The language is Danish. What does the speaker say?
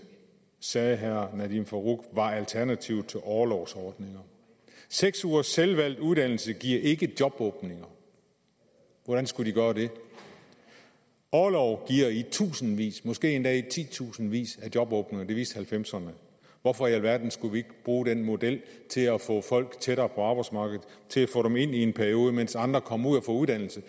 sagde herre nadeem farooq var alternativet til orlovsordninger seks ugers selvvalgt uddannelse giver ikke jobåbninger hvordan skulle det gøre det orlov giver i tusindvis måske endda i titusindvis af jobåbninger det viste nitten halvfemserne hvorfor i alverden skal vi ikke bruge den model til at få folk tættere på arbejdsmarkedet til at få dem ind i en periode mens andre kommer ud og får uddannelse